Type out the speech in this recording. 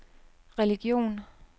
religion